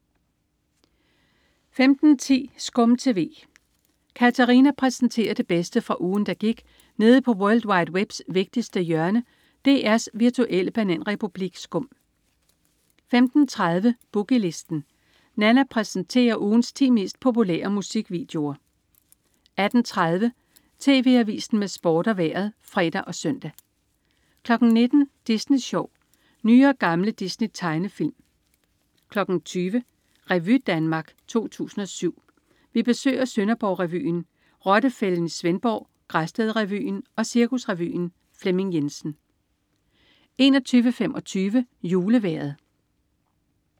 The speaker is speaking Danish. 15.10 SKUM TV. Katarina præsenterer det bedste fra ugen, der gik nede på world wide webs vigtigste hjørne, DR's virtuelle bananrepublik SKUM 15.30 Boogie Listen. Nanna præsenterer ugens 10 mest populære musikvideoer 18.30 TV Avisen med Sport og Vejret (fre og søn) 19.00 Disney Sjov. Nye og gamle Disney-tegnefilm 20.00 Revy Danmark 2007. Vi besøger Sønderborg Revyen, Rottefælden i Svendborg, Græsted Revyen og Cirkusrevyen. Flemming Jensen 21.25 Julevejret